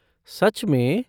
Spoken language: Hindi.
सच में!?